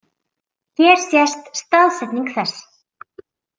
Hér sést staðsetning þess.